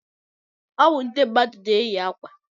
Ọwụ ndị mmadụ na-eyi ákwà.